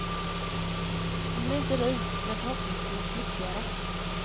Hon blir inte rik men förhoppningsvis lyckligare.